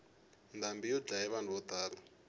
ndhambi yi dlaye vanhu vo tala